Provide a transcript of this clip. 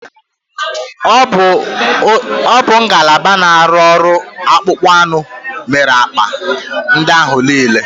Ọ bụ ngalaba na-arụ ọrụ akpụkpọ anụ mere akpa ndị ahụ niile.